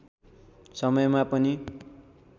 समयमा पनि